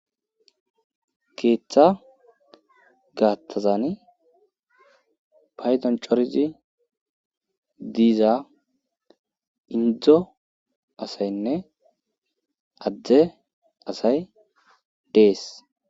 Keeththa gaattazani paydanchorzi diiza indzdzo asaynne adde asay dees